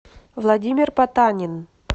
владимир потанин